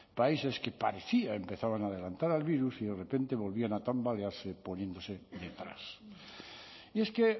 países que parecía empezaban a adelantar al virus y de repente volvían a tambalearse poniéndose detrás y es que